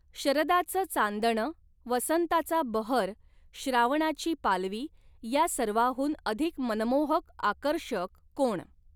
शरदाचं चांदण, वसंताचा बहर, श्रावणाची पालवी या सर्वाहुन अधिक मनमोहक आकर्षक कोण